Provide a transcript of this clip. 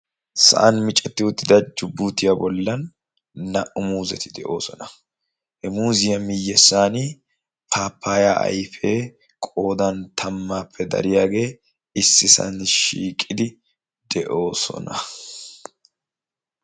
sa'an micetti uttida jubuutiyaa bollan naa''u muuzeti de'oosona he muuziyaa miyyessan paapaya ayfee qodan tammaappe dariyaagee issi sa'ay shiiqidi de'oosona